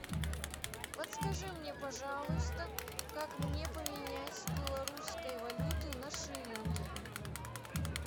подскажи мне пожалуйста как мне поменять белорусскую валюту на шиллинги